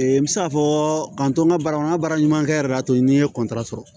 n bɛ se k'a fɔ k'an to n ka baara kɔnɔ n ka baara ɲuman kɛli y'a to n ye sɔrɔ